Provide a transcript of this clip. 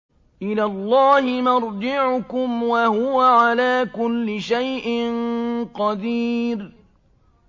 إِلَى اللَّهِ مَرْجِعُكُمْ ۖ وَهُوَ عَلَىٰ كُلِّ شَيْءٍ قَدِيرٌ